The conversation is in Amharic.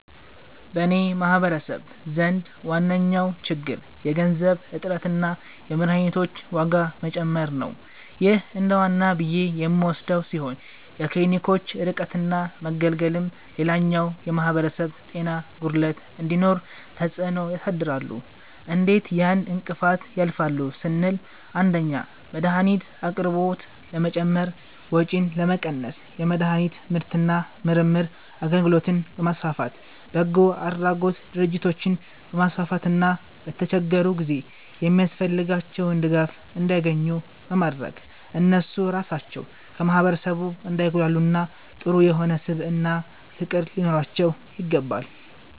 በኔ ማህበረሰብ ዘንድ ዋነኛዉ ችግር የገንዘብ እጥረትና የመድሀኒቶች ዋጋ መጨመር ነዉ ይህ እንደዋና ብዬ የምወስደዉ ሲሆን የክሊኒኮች ርቀትና መገለልም ሌላኛዉ የማህበረሰብ ጤና ጉድለት እንዲኖር ተፅእኖ ያሳድራሉ እንዴት ያን እንቅፋት ያልፋሉ ስንል 1)የመድሀኒት አቅርቦት ለመጨመር ወጪን ለመቀነስ የመድሀኒት ምርትና ምርምር አገልግሎትን በማስፋፋት፣ በጎአድራጎት ድርጅቶችን በማስፋፋትና በተቸገሩ ጊዜ የሚያስፈልጋቸዉን ድጋፍ እንዲያኙ ኙ በማድረግ እነሱ ራሳቸዉ ከማህበረሰቡ እንዳይጉላሉና ጥሩ የሆነ ስብዕናና ፍቅር ሊኖራቸዉ ይገባል።